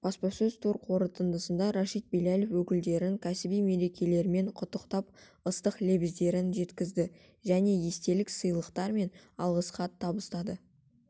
баспасөз тур қорытындысында рашид блялов өкілдерін кәсіби мерекелерімен құттықтап ыстық лебіздерін жеткізді және естелік сыйлықтары мен алғыс хат табыстады